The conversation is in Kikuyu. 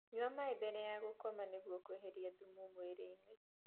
Nyua maĩ mbere ya gukoma nĩguo kueherĩa thumu mwĩrĩ-ini